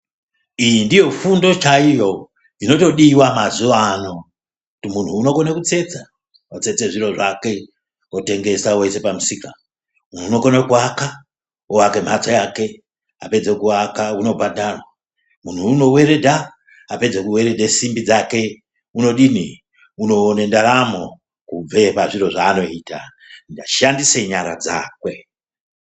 Iyi ndiyo fundo chaiyo inotodiwa mazuwa ano ,munhu unokone kutsetsa otsetse zviro zvake otengesa oise pamusika ,munhu unokone kuaka ,oaka mhatso yake opedze kuaka unobhadharwa ,munhu unoweredha, apedza kuweredhe simbi dzake unodini unoone ndaramo kubve pazviro zvaanoita eishandise nyara dzakwe.